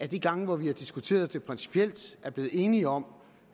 de gange vi har diskuteret det principielt er blevet enige om